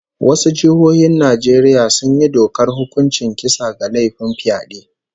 Wasu jihohin Najeriya sun yi dokar hukuncin kisa ga laifin fyade